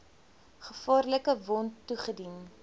gevaarlike wond toegedien